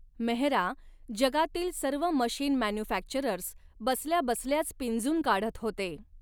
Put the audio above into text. मेहरा जगातील सर्व machine manufacturers बसल्या बसल्याच पिंजून काढत होते.